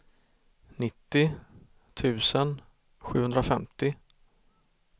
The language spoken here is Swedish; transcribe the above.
nittio tusen sjuhundrafemtio